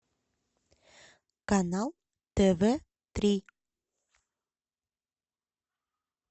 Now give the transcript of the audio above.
канал тв три